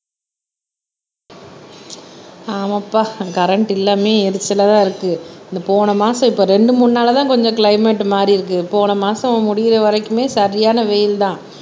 ஆமாப்பா கரண்ட் இல்லாமயே எரிச்சலாதான் இருக்கு இந்த போன மாசம் இப்ப ரெண்டு மூணு நாளாதான் கொஞ்சம் கிளைமேட் மாறியிருக்கு போன மாசம் முடியற வரைக்குமே சரியான வெயில்தான்